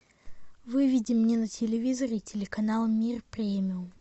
выведи мне на телевизоре телеканал мир премиум